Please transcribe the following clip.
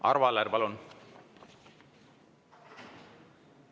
Arvo Aller, palun!